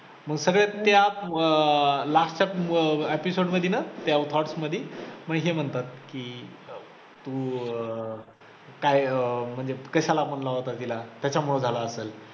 मग सगळेच त्या अं last च्या अं episode मधी ना त्या part मधी मग हे म्हणतात की तू अं काय अं मग कशाला म्हंटला होता तिला त्याच्यामुळे झालं असेल.